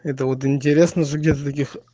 это вот интересно же где таких